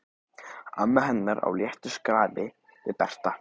Amma hennar á léttu skrafi við Berta.